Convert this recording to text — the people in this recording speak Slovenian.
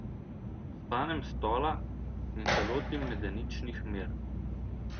Vstanem s stola in se lotim medeničnih mer.